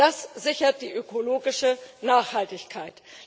Das sichert die ökologische Nachhaltigkeit.